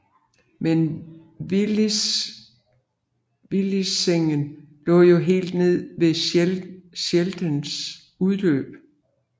Men Vliessingen lå jo helt nede ved Scheldes udløb